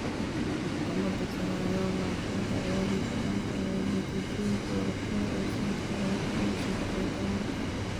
Maxkamadda sare ayaa laashay dacwadii ka dhanka ahayd natiijadii doorashada ee sanadka laba kun iyo saddex iyo tobanka.